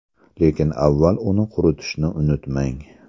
Lekin avval uni quritishni unutmang.